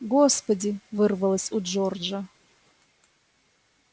господи вырвалось у джорджа